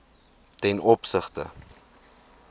ten opsigte